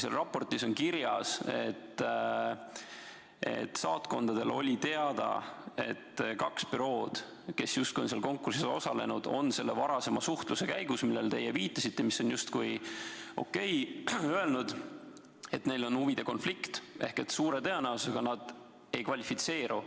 Selles raportis on kirjas, et saatkondadele oli teada, et kaks bürood, kes justkui on sellel konkursil osalenud, on varasema suhtluse käigus, millele te viitasite ja mis on justkui OK, öelnud, et neil on huvide konflikt ja et suure tõenäosusega nad ei kvalifitseeru.